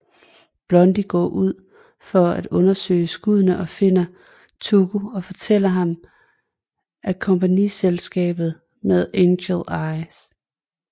Blondie går ud for at undersøge skuddene og finder Tuco og fortæller ham om kompagniskabet med Angel Eyes